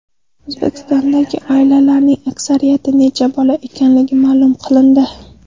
O‘zbekistondagi oilalarning aksariyati nechta bolali ekanligi ma’lum qilindi.